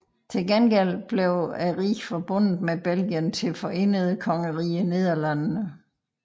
Til gengæld blev riget forbundet med Belgien til Forenede Kongerige Nederlandene